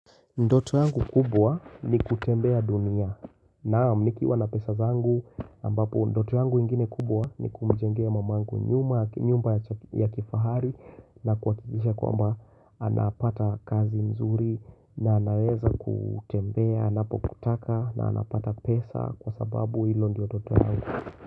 Ndoto yangu kubwa ni kutembea dunia naam nikiwa na pesa zangu ambapo ndoto yangu ingine kubwa ni kumijengea mamangu nyuma, nyumba ya kifahari na kuakikisha kwamba anapata kazi mzuri na anaweza kutembea, anapo kutaka na anapata pesa kwa sababu ilo ndio ndoto yangu.